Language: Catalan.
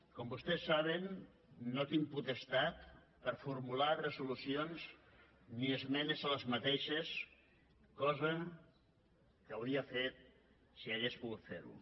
com vostès saben no tinc potestat per formular resolucions ni esmenes a aquestes cosa que hauria fet si hagués pogut ferho